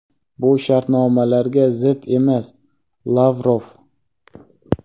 bu shartnomalarga zid emas – Lavrov.